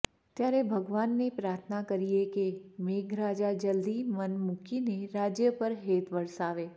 ત્યારે ભગવાનને પ્રાર્થના કરીએ કે મેઘરાજા જલ્દી મન મુકીને રાજય પર હેત વરસાવે